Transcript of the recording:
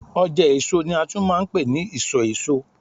ọjà èso ni a tún ma ń pe ni isọ èso